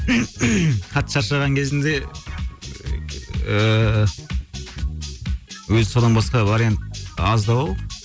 қатты шаршаған кезінде ыыы өзі содан басқа вариант аздау